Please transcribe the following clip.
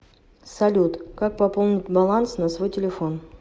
салют как пополнить баланс на свой телефон